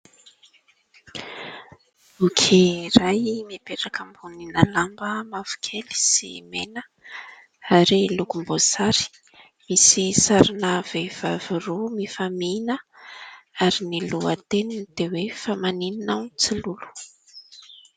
Boky iray mipetraka ambonina lamba mavokely sy mena ary lokom-boasary, misy sarina vehivavy roa mifamihina ary ny lohateniny dia hoe fa maninona aho no tsy lolo.